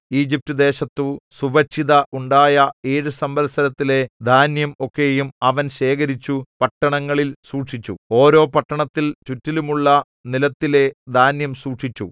ഈജിപ്റ്റുദേശത്തു സുഭിക്ഷത ഉണ്ടായ ഏഴു സംവത്സരത്തിലെ ധാന്യം ഒക്കെയും അവൻ ശേഖരിച്ചു പട്ടണങ്ങളിൽ സൂക്ഷിച്ചു ഓരോ പട്ടണത്തിൽ ചുറ്റിലുമുള്ള നിലത്തിലെ ധാന്യം സൂക്ഷിച്ചു